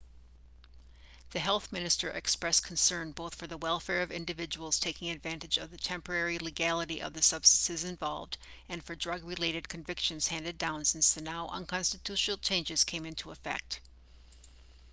the health minister expressed concern both for the welfare of individuals taking advantage of the temporary legality of the substances involved and for drug-related convictions handed down since the now-unconstitutional changes came into effect